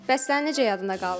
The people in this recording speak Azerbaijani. Bəs sənin necə yadında qaldı?